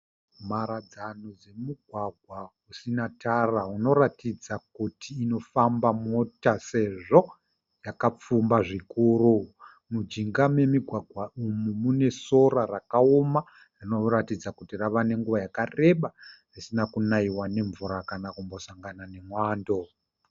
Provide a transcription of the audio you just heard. Mharadzano dzemugwagwa usina tara inoratidza kuti inofambwa nemotokari zhinji sezvo yakapfumba zvikuru. Mujinga memigwagwa umu muri kuratidza sora rakaoma rinoratidza kuti rave nenguva yakareba risina kunaiwa nemvura kana kumbosangana nemwando.